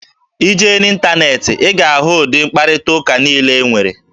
Ị jee n'ịntaneetị, ị ga-ahụ ụdị mkparịtaụka niile e nwere